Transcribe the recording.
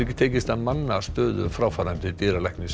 tekist að manna stöðu fráfarandi dýralæknis